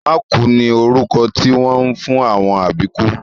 Mákùú ni orúkọ tí wọ́n ń fún àwọn àbíkú